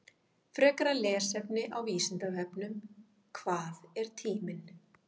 Frekara lesefni á Vísindavefnum: Hvað er tíminn?